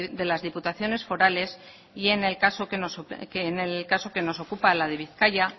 de las diputaciones forales y en el caso que nos ocupa la de bizkaia